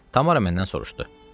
Tamara məndən soruşdu: